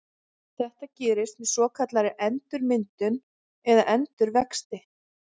Þetta gerist með svokallaðri endurmyndun eða endurvexti.